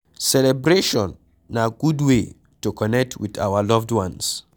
Celebration na good way to connect with our loved ones